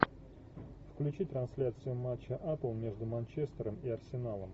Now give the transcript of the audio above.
включи трансляцию матча апл между манчестером и арсеналом